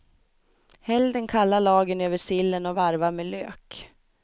Häll den kalla lagen över sillen och varva med lök.